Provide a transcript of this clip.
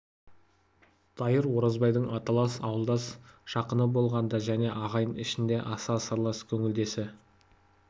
дайыр оразбайдың аталас ауылдас жақыны болған да және ағайын ішінде аса сырлас көңілдесі